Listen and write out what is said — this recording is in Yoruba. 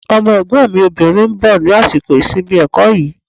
Ọmọ Ẹ̀gbọ́n mi obìnrin ń bọ̀ ní àsìkò ìsinmi ẹ̀kọ́ yìí